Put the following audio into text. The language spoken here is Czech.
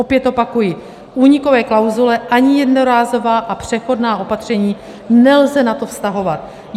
Opět opakuji, únikové klauzule ani jednorázová a přechodná opatření nelze na to vztahovat.